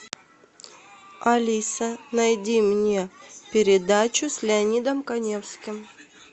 алиса найди мне передачу с леонидом каневским